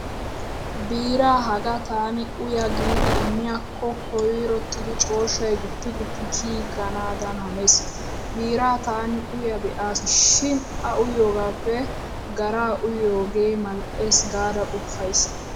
Biiraa hagaa taani uya giidi immiyaakko koyrottidi cooshshay guppi guppi kiyiiganaadan hanees. Biiraa taani uya be'aasi shin a uyyiyogaappe garaa uyyiyoogee mal"eesi gaada qoppays.